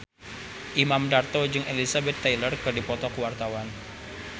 Imam Darto jeung Elizabeth Taylor keur dipoto ku wartawan